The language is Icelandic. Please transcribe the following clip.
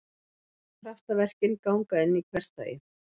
Kraftaverkin ganga inn í hversdaginn.